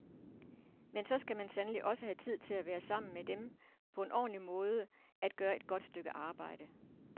Men så skal man sandelig også have tid til at være sammen med dem på en ordentlig måde, at gøre et godt stykke arbejde.